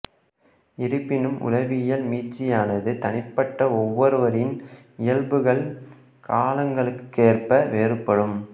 இருப்பினும் உளவியல் மீட்சியானது தனிப்பட்ட ஒவ்வொருவரின் இயல்புகள் காலங்களுக்கேற்ப வேறுபடும்